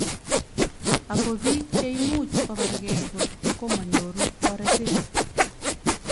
Ako bik cheimuch kobargei kotko manyoru toretet.